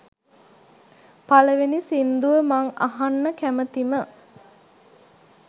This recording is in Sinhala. පළවෙනි සින්දුව මං අහන්න කැමතිම